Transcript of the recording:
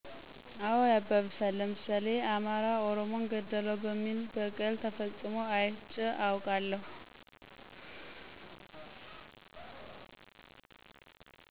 አዎ ያባብሳል፣ ለምሳሌ አማራ ኦሮሞን ገደለው በሚል በቀል ተፈፅሞ አይቼ አውቃለሁ።